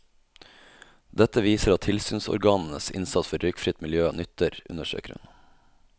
Dette viser at tilsynsorganenes innsats for røykfritt miljø nytter, understreker hun.